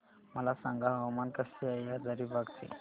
मला सांगा हवामान कसे आहे हजारीबाग चे